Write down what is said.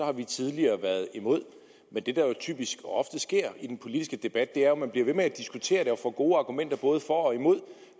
at vi tidligere har været imod men det der jo typisk og ofte sker i den politiske debat er at man bliver ved med at diskutere det og får gode argumenter både for og imod og